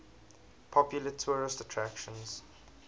popular tourist attractions